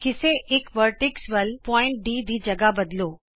ਕਿਸੇ ਇਕ ਸਿਖਰ ਵਲ ਬਿੰਦੂ D ਦੀ ਥਾਂ ਬਦਲੋ